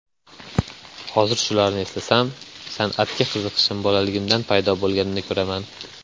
Hozir shularni eslasam, san’atga qiziqishim bolaligimdan paydo bo‘lganini ko‘raman.